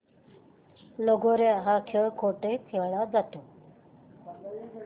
लगोर्या हा खेळ कुठे खेळला जातो